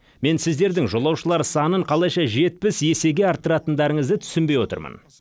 мен сіздердің жолаушылар санын қалайша жетпіс есеге арттыратындарыңызды түсінбей отырмын